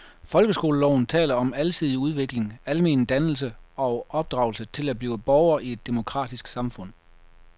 Folkeskoleloven taler om alsidig udvikling, almen dannelse og opdragelse til at blive borger i et demokratisk samfund.